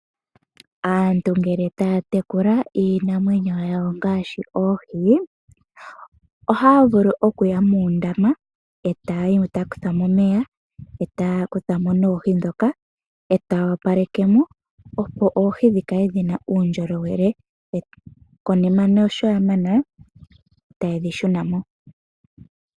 Aantu ngele ta ya tekula iinamwenyo yawo ngaashi oohi, oha ya vulu oku ya muundama e ta ya kutha mo omeya, e ta ya kutha mo noohi ndhoka e ta ya opaleke mo opo oohi dhikale dhina uundjolowele, konima sho ya mana e ta ye dhi shuna mo.